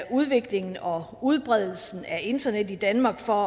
udviklingen og udbredelsen af internet i danmark for